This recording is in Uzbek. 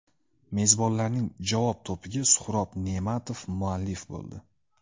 Mezbonlarning javob to‘piga Suhrob Ne’matov muallif bo‘ldi.